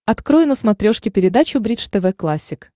открой на смотрешке передачу бридж тв классик